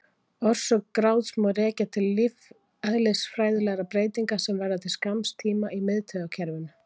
Orsök gráts má rekja til lífeðlisfræðilegra breytinga sem verða til skamms tíma í miðtaugakerfinu.